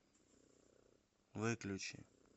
выключи